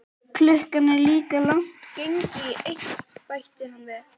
Klukkan er líka langt gengin í eitt, bætti hann við.